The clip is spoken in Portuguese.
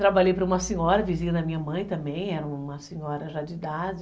Trabalhei para uma senhora, vizinha da minha mãe também, era uma senhora já de idade...